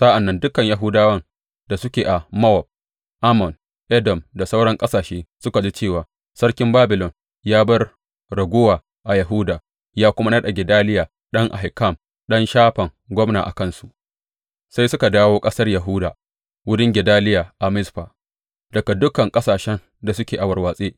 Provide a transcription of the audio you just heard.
Sa’ad da dukan Yahudawan da suke a Mowab, Ammon, Edom da sauran ƙasashe suka ji cewa sarkin Babilon ya bar raguwa a Yahuda ya kuma naɗa Gedaliya ɗan Ahikam, ɗan Shafan gwamna a kansu, sai suka dawo ƙasar Yahuda, wurin Gedaliya a Mizfa, daga dukan ƙasashen da suke a warwatse.